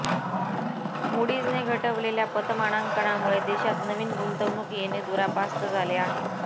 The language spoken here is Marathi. मुडीज्ने घटवलेल्या पतमानांकनामुळे देशात नवीन गुंतवणूक येणे दुरापास्त झाले आहे